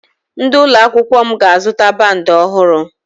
Ndị ụlọ akwụkwọ m ga-azụta bandi ọhụrụ